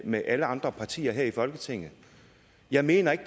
med alle andre partier her i folketinget jeg mener ikke